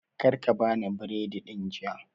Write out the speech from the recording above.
Karka ka bani biredin jiya